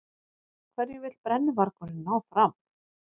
Hverju vill brennuvargurinn ná fram?